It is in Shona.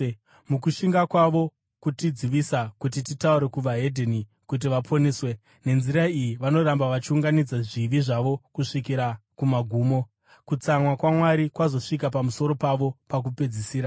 mukushinga kwavo kutidzivisa kuti titaure kuvahedheni kuti vaponeswe. Nenzira iyi vanoramba vachiunganidza zvivi zvavo kusvikira kumagumo. Kutsamwa kwaMwari kwazosvika pamusoro pavo pakupedzisira.